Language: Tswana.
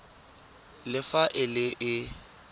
le fa e le e